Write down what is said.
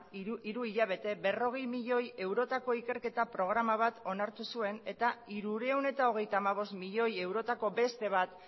hiru hilabete berrogei milioi eurotako ikerketa programa bat onartu zuen eta hirurehun eta hogeita hamabost milioi eurotako beste bat